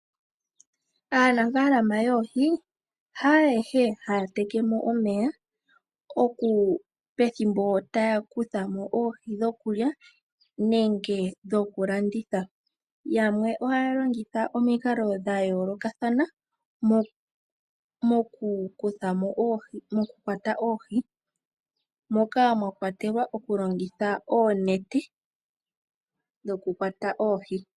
Aanafaalama yoohi hayehe haya tekemo omeya pethimbo taya kuthamo oohi dhokulya nenge dhokulanda dhokulanditha. Yamwe ohaya longitha omikalo dha yoolokathana moku kwata oohi moka mwakwatelwa oku longitha oonete dhoku kwata oohi.